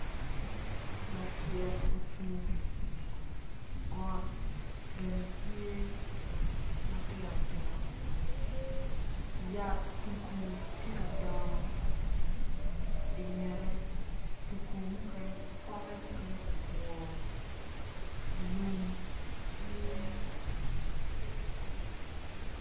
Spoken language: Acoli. Lacek ocung got bene tye matinotino yat tugu tye ka dongo i ngette pote mukene otwo lum tye